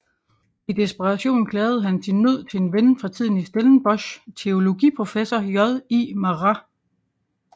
I desperation klagede han sin nød til en ven fra tiden i Stellenbosch teologiprofessor J I Marais